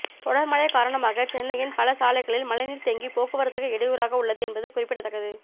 தொடர்மழை காரணமாக சென்னையின் பல சாலைகளில் மழைநீர் தேங்கி போக்குவரத்துக்கு இடையூறாக உள்ளது என்பது குறிப்பிடத்தக்கது